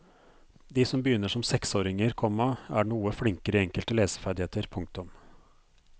De som begynner som seksåringer, komma er noe flinkere i enkelte leseferdigheter. punktum